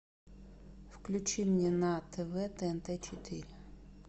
включи мне на тв тнт четыре